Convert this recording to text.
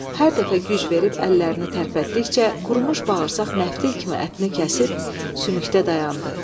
Hər dəfə güc verib əllərini tərpətdikcə, qurumuş bağırsaq məftil kimi ətini kəsib sümükdə dayandı.